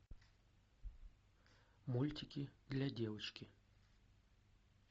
мультики для девочки